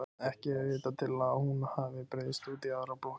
Ekki er vitað til að hún hafi breiðst út í aðrar blokkir.